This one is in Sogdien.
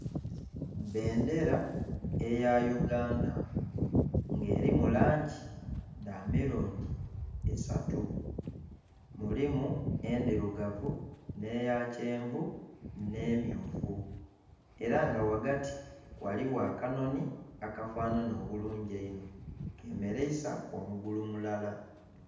Bendera eya Uganda nga elimu langi dha milundi esatu. Mulimu endhirugavu nh'eya kyenvu nh'emmyufu. Era nga ghaghati ghaligho akanhonhi akafanhanha obulungi einho, kemeleisa omugulu mulala.